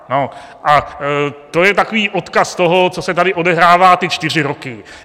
A to je takový odkaz toho, co se tady odehrává ty čtyři roky.